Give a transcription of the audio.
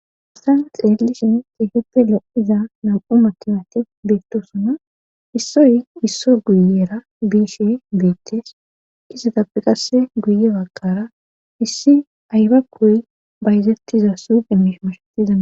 Ostan xeellishin xeeheppe lo'iza nam'u matimate beettosona issoy isso guyera biishe beettes kisetappe qasse guye bagkara issi aybakoy bayzettiza sugemish mashetizaa.